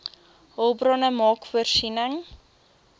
hulpbronne maak voorsiening